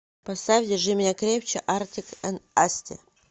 поставь держи меня крепче артик энд асти